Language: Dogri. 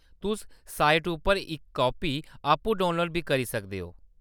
तुस साइट उप्परा इक कापी आपूं डाउनलोड बी करी सकदे ओ।